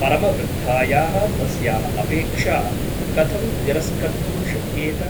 परमवृद्धायाः तस्याः अपेक्षा कथं तिरस्कर्तुं शक्येत ?